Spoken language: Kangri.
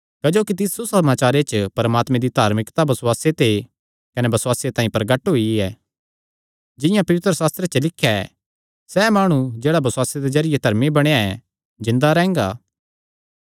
क्जोकि तिस सुसमाचारे च परमात्मे दी धार्मिकता बसुआसे ते कने बसुआसे तांई प्रगट हुंदी ऐ जिंआं पवित्रशास्त्रे च लिख्या ऐ सैह़ माणु जेह्ड़ा बसुआसे दे जरिये धर्मी बणेया ऐ जिन्दा रैंह्गा